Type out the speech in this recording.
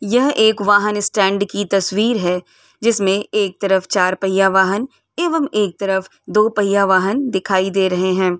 यह एक वाहन स्टैंड की तस्वीर है जिसमे एक तरफ चार पहिया वाहन एवं एक तरफ दो पहिया वाहन दिखाई दे रहे हैं।